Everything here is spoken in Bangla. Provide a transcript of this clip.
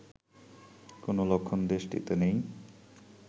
কোন লক্ষণ দেশটিতে নেই